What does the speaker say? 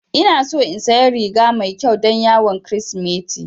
Ina so in saya riga mai ƙyau don yawon kirismeti